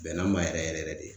Bɛnna n ma yɛrɛ yɛrɛ yɛrɛ de.